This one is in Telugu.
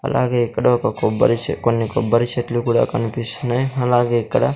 అలాగే ఇక్కడ ఒక కొబ్బరి చే కొన్ని కొబ్బరి చెట్లు కూడా కన్పిస్తున్నాయ్ అలాగే ఇక్కడ--